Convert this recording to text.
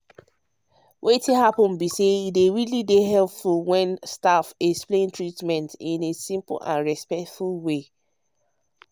wetin happen be say e really dey helpful when staff explain treatment in simple and respectful way.